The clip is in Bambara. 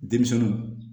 Denmisɛnninw